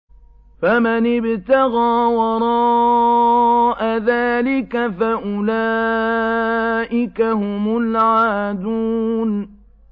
فَمَنِ ابْتَغَىٰ وَرَاءَ ذَٰلِكَ فَأُولَٰئِكَ هُمُ الْعَادُونَ